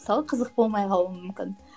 мысалы қызық болмай қалуы мүмкін